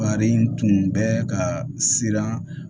Wari in tun bɛ ka siran